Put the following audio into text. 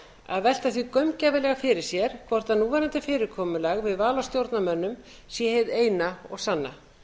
að velta því gaumgæfilega fyrir sér hvort núverandi fyrirkomulag við val á stjórnarmönnum sé hið eina og sanna